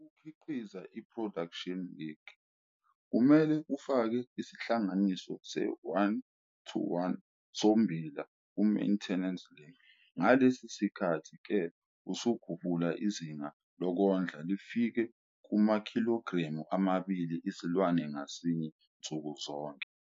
Ukukhiqiza iproduction lick, kumele ufake isilinganiso se-1-1 sommbila kumaintenance lick. Ngalesi sikhathi-ke usukhuphula izinga lokondla lifike kumakhilogremu amabili isilwane ngasinye nsukuzonke.